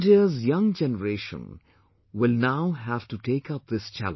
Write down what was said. India's young generation will now have to take up this challenge